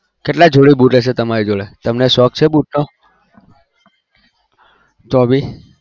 કેટલા જોડી boot હશે તેમનો શોક છે boot નો તો બી